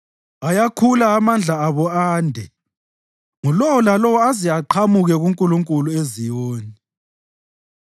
Ayakhula amandla abo ande, ngulowo lalowo aze aqhamuke kuNkulunkulu eZiyoni.